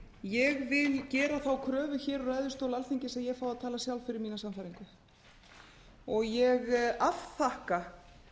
ég vil gera þá kröfu hér úr ræðustól alþingis að ég fái að tala sjálf fyrir mína sannfæringu og ég afþakka